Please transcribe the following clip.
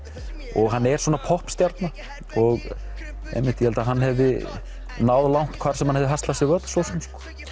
og hann er svona popp stjarna og ég held að hann hefði náð langt hvar sem hann hefði haslað sér völl svo sem